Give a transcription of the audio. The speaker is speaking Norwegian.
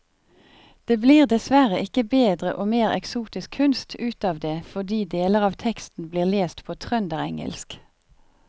Det blir dessverre ikke bedre og mer eksotisk kunst ut av det fordi deler av teksten blir lest på trønderengelsk.